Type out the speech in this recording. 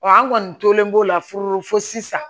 an kɔni tolen b'o la fɔlɔ fo sisan